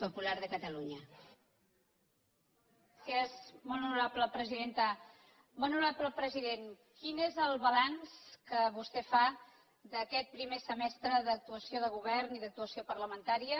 molt honorable president quin és el balanç que vostè fa d’aquest primer semestre d’actuació del govern i d’actuació parlamentària